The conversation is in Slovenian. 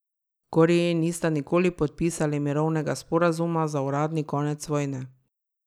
Koreji nista nikoli podpisali mirovnega sporazuma za uradni konec vojne.